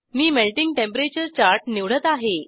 मी melting temperature chart निवडत आहे